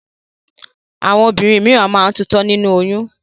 Àwọn obìnrin míràn máa ń tutọ́ nínú oyún.